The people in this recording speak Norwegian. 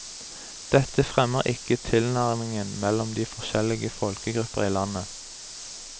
Dette fremmer ikke tilnærmingen mellom de forskjellige folkegrupper i landet.